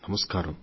నమస్కారం